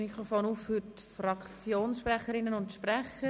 Ich öffne das Mikrofon für Fraktionssprecherinnen und -sprecher.